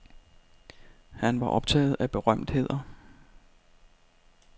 Han var optaget af berømtheder.